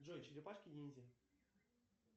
джой черепашки ниндзя